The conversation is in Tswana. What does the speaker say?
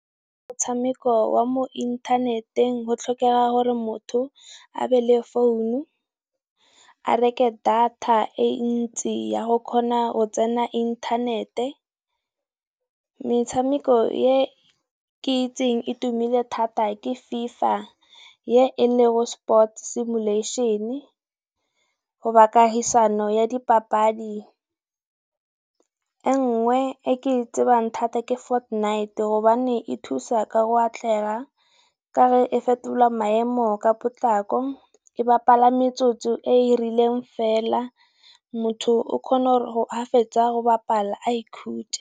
Motshameko wa mo inthaneteng go tlhokega gore motho a be le founu, a reke data e ntsi ya go kgona go tsena inthanete, metshameko e ke itseng e tumile thata ke FIFA ye ele go Sports Simulation-e goba kahisano ya dipapadi. E nngwe e ke e tsebang thata ke Fortnite gobane e thusa ka go atlega ka ge fetola maemo ka potlako e bapala metsotso e e rileng fela motho o kgona gore ha fetsa go bapala a ikhutse.